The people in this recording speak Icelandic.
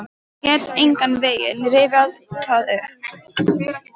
Get engan veginn rifjað það upp.